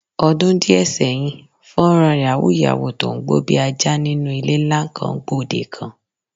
Odun díè̩ sé̩yìn, fó̩nrán yàwúù-yàwúù tó ń gbó bí ajá nínú ilé ńlá kan, gbòdekan.